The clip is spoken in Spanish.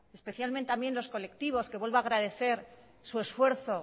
especialmente también los colectivos que vuelvo a agradecer su esfuerzo